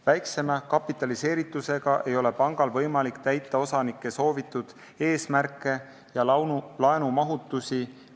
Väiksema kapitaliseeritusega ei ole pangal võimalik täita osanike soovitud eesmärke ja laenumahtusid.